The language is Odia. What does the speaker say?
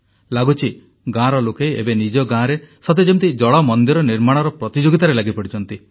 ଲାଗୁଛି ଗାଁର ଲୋକେ ଏବେ ନିଜ ଗାଁରେ ସତେ ଯେମିତି ଜଳ ମନ୍ଦିର ନିର୍ମାଣର ପ୍ରତିଯୋଗିତାରେ ଲାଗି ପଡ଼ିଛନ୍ତି